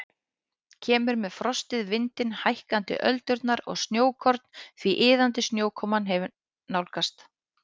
Kemur með frostið, vindinn, hækkandi öldurnar og snjókorn því iðandi snjókoman hefur nálgast.